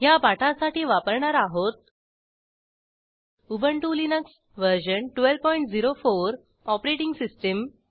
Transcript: ह्या पाठासाठी वापरणार आहोत उबंटु लिनक्स व्हर्शन1204 ऑपरेटिंग सिस्टीम